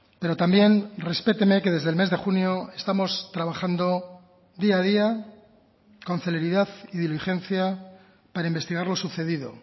pero también respéteme que desde el mes de junio estamos trabajando día a día con celeridad y diligencia para investigar lo sucedido